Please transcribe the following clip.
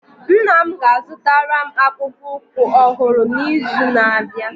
Nna m ga-azụtara m akpụkpọ ụkwụ ọhụrụ n'izu na-abịa